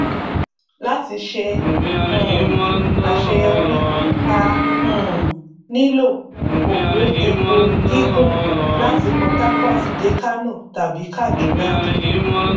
láti ṣe um àṣeyọrí a um nílò òpó epo gígùn láti port harcourt dé kánò tàbí kàdúná